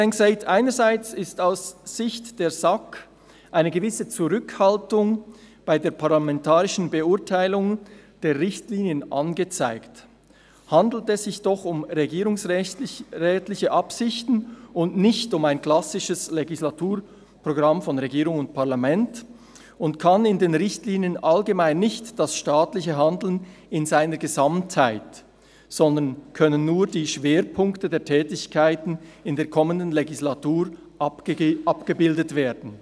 «Einerseits ist aus Sicht der SAK eine gewisse Zurückhaltung bei der parlamentarischen Beurteilung der Richtlinien angezeigt, handelt es sich doch um regierungsrätliche Absichten, und nicht um ein klassisches Legislaturprogramm von Regierung und Parlament, und kann in den Richtlinien allgemein nicht das staatliche Handeln in seiner Gesamtheit, sondern können nur die Schwerpunkte der Tätigkeiten in der kommenden Legislatur abgebildet werden.